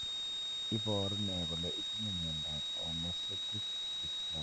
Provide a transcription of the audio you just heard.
Iporu ne kole itinye miondap Anauxetic dysplasia?